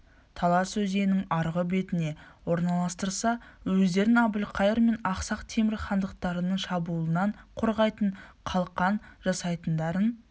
талас өзенінің арғы бетіне орналастырса өздерін әбілқайыр мен ақсақ темір хандықтарының шабуылынан қорғайтын қалқан жасайтындарын